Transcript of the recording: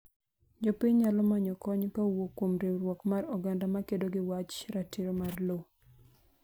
jopiny nayolo manyo kony ka owuok kuom riwruok mar oganda ma kedo ni wach ratiro mar lowo